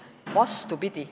Vastupidi.